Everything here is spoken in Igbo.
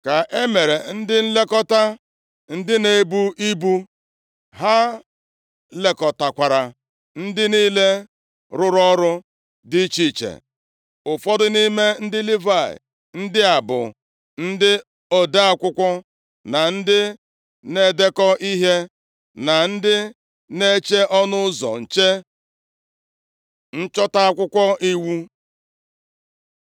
ka e mere ndị nlekọta ndị na-ebu ibu. Ha lekọtakwara ndị niile rụrụ ọrụ dị iche iche. Ụfọdụ nʼime ndị Livayị ndị a bụ ndị ode akwụkwọ na ndị na-edekọ ihe, na ndị na-eche ọnụ ụzọ nche. Nchọta Akwụkwọ iwu